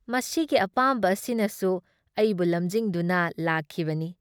ꯃꯁꯤꯒꯤ ꯑꯄꯥꯝꯕ ꯑꯁꯤꯅꯁꯨ ꯑꯩꯕꯨ ꯂꯝꯖꯤꯡꯗꯨꯅ ꯂꯥꯛꯈꯤꯕꯅꯤ꯫